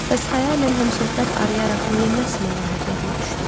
Bəs xəyalən həmsöhbət arayaraq niyə məhz Məlahət yadıma düşdü?